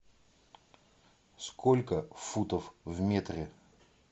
сколько футов в метре